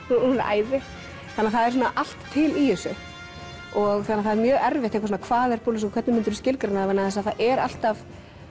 hún er æði þannig að það er svona allt til í þessu þannig að það er mjög erfitt eitthvað svona hvað er burlesquer og hvernig myndirðu skilgreina það vegna þess að það er alltaf